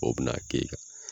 O bɛ na a kɛ i kan.